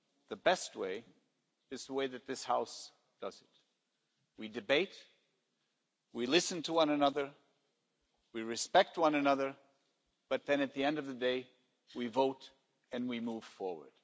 The best way is the way that this House does it we debate, we listen to one another, we respect one another, but then at the end of the day we vote and we move forward.